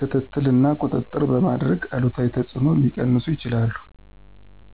ክትትል እና ቁጥጥር በማድረግ አሉታዊ ተጽዕኖዎችን ሊቀንሱ ይችላሉ።